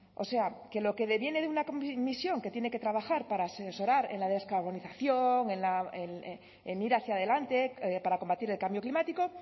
o sea que lo que deviene de una comisión que tiene que trabajar para asesorar en la descarbonización en ir hacia adelante para combatir el cambio climático